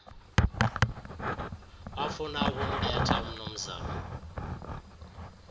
wafuna ukumbetha umnumzana